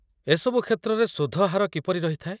ଏସବୁ କ୍ଷେତ୍ରରେ ସୁଧ ହାର କିପରି ରହିଥାଏ ?